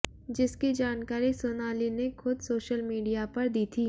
जिसकी जानकारी सोनाली ने खुद सोशल मीडिया पर दी थी